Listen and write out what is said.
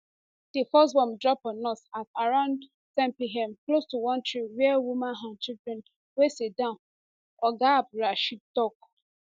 di first bomb drop on us at around ten pm close to one tree wia women and children dey siddon oga abdulrasheed tok